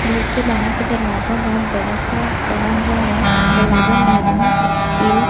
घर के बाहर का दरवाजा बोहोत बड़ा सा बना हुआ है। दरवाजा महरून स्टील --